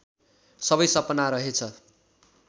सबै सपना रहेछ